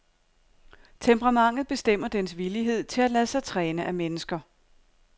Temperamentet bestemmer dens villighed til at lade sig træne af mennesker.